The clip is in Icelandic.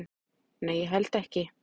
"""Nei, ég held ekki."""